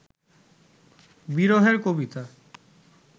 বিরহের কবিতা